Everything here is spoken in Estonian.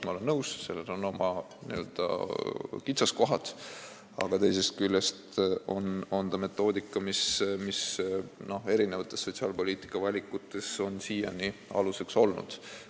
Ma olen nõus, seal on oma n-ö kitsaskohad, aga teisest küljest on see metoodika, mis sotsiaalpoliitika eri valikutes on siiani aluseks olnud.